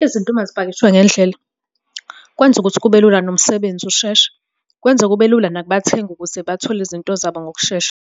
Izinto uma zipakishwe ngendlela kwenza ukuthi kube lula nomsebenzi usheshe. Kwenza kube lula nakubathengi ukuze bathole izinto zabo ngokushesha.